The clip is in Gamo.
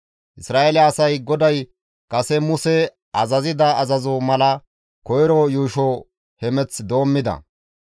Isra7eele asay GODAY kase Muse azazida azazoza mala koyro yuusho hemeth doommides.